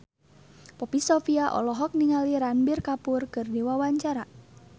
Poppy Sovia olohok ningali Ranbir Kapoor keur diwawancara